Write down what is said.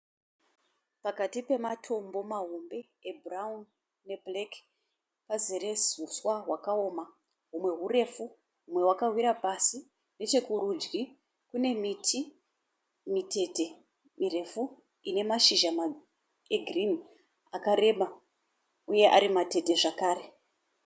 Pakati pematombo mahombe ebhurawuni nebhureki pazere huswa hwakaoma, humwe hurefu humwe wakawira pasi. Nechokurudyi kune miti mitete mirefu inemashizha egirinhi akareba uye arimatete zvakare.